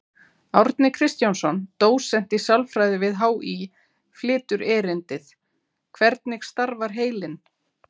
Árni Kristjánsson, dósent í sálfræði við HÍ, flytur erindið: Hvernig starfar heilinn?